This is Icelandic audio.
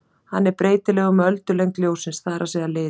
Hann er breytilegur með öldulengd ljóssins, það er að segja lit.